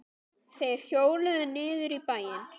Þeir hjóluðu niður í bæinn.